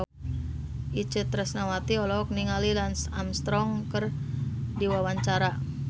Itje Tresnawati olohok ningali Lance Armstrong keur diwawancara